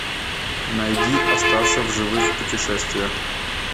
найди остаться в живых путешествие